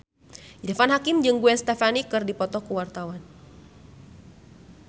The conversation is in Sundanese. Irfan Hakim jeung Gwen Stefani keur dipoto ku wartawan